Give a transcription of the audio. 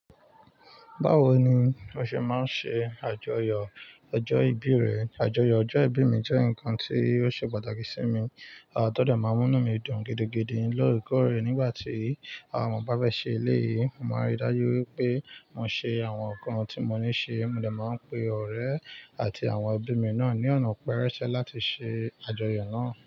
Báwo ni o ṣe máa ń ṣe àjọyọ̀ ọjọ́ ìbí rẹ? Àjọyọ̀ ọjọ́ ìbí mi jẹ́ nǹkan tí ó ṣe pàtàkì sí mi. Àwọn tọ́dọ́ máa ń mú mí dùn gidigidi níradikọ̀ rẹ̀ nígbà tí àwọn ọmọ bá bẹ́ ṣe eléyìí. Mo máa ń rí dájú wípé mo ṣe àwọn nǹkan tí mo ní ṣe, mo dà máa ń pe ọ̀rẹ́ àti àwọn ẹbí mi náà ní ọ̀nà pẹrẹsẹ láti ṣe àjọyọ̀ náà.